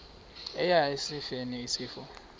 eya esifeni isifo